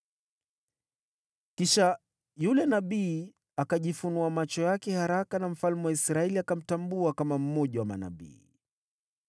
Kisha yule nabii akajifunua macho yake haraka, na mfalme wa Israeli akamtambua kama mmoja wa manabii.